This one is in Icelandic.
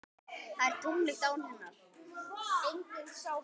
Það er tómlegt án hennar.